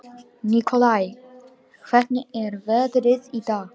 Nikolai, hvernig er veðrið í dag?